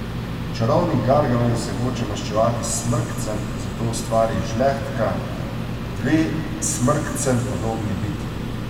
Čarovnik Gargamel se hoče maščevati Smrkcem, zato ustvari Žlehtka, dve Smrkcem podobni bitji.